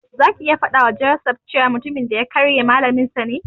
Zaki ya faɗawa Joseph cewa mutumin da ya karye Malaminsa ne.